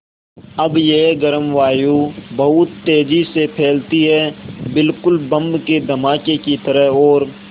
अब यह गर्म वायु बहुत तेज़ी से फैलती है बिल्कुल बम के धमाके की तरह और